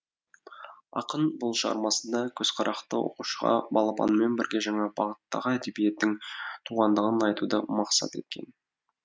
ақын бұл шығармасында көзіқарақты оқушыға балапанмен бірге жаңа бағыттағы әдебиеттің туғандығын айтуды мақсат еткен